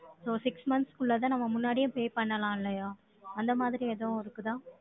So six months க்குள்ளத, நம்ம முன்னாடியே, pay பண்ணலாம், இல்லையா? அந்த மாதிரி, எதுவும் இருக்குதா